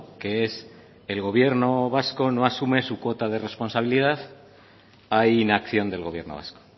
que es el gobierno vasco no asume su cuota de responsabilidad hay inacción del gobierno vasco